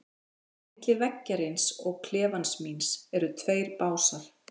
Á milli veggjarins og klefans míns eru tveir básar.